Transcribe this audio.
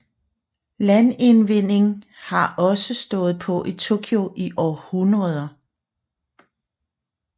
Landindvinding har også stået på i Tokyo i århundreder